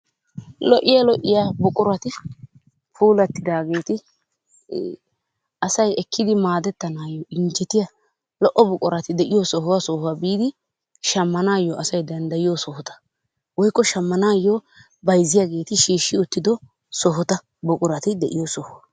Lo'iyaa lo'iya buqurati puulattidaageeti asay ekkidi maadetanaayo injjetiya lo''o buqurati de'iyo sohuwa sohuwa biidi shamanaayo asay danddayoiyo sohota, woykko shamanaayo bayzziyaageti shiishi uttido sohota buqurati de'iyo sohuwa.